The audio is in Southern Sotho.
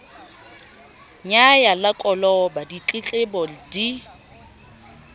nyaya la koloba ditletlebo di